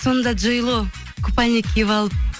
сонда джей ло купальник киіп алып